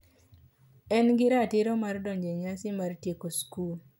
kendo en gi ratiro mar donjo e nyasi mar tieko skul.